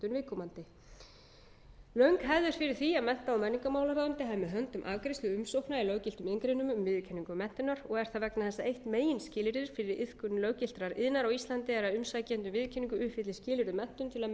viðkomandi löng hefð er fyrir því að mennta og menningarmálaráðuneytið hafi með höndum afgreiðslu umsókna í löggiltum iðngreinum um viðurkenningu menntunar og er það vegna þess að eitt meginskilyrðið fyrir iðkun löggiltrar iðnar á íslandi er að umsækjandi um viðurkenningu uppfylli skilyrði um menntun til að mega starfa